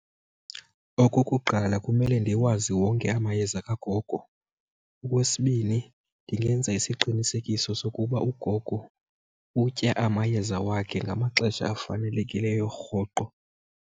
Okokuqala kumele ndiwazi wonke amayeza kagogo. Okwesibini ndingenza isiqinisekiso sokuba ugogo utya amayeza wakhe ngamaxesha afanelekileyo rhoqo.